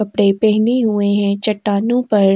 कपड़े पहने हुए हैं चट्टानों पर।